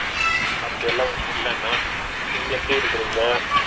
அப்பிடியெல்லாம் இல்லண்ணா நீங்க எப்பிடி இருக்கீங்க ?